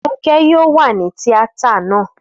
Fúnkẹ́ yóò wà ní tíátà náà